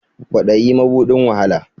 Kwadayi mabuɗin wahala